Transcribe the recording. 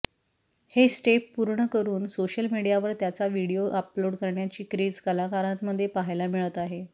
ही step पूर्ण करून social मीडियावर त्याचा व्हिडीओ अपलोड करण्याची क्रेझ कलाकारांमध्ये पाहायला मिळत आहे